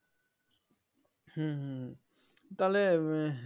হম হম তাহলে উম